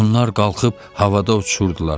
Onlar qalxıb havada uçurdular.